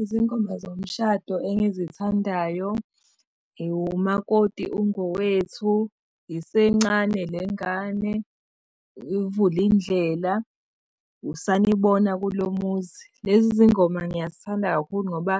Izingoma zomshado engizithandayo umakoti ungowethu, isencane le ngane, uvulindlela, usanibona kulo muzi. Lezi zingoma ngiyazithanda kakhulu ngoba